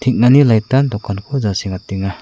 hengani lait an dokanko jasengatenga.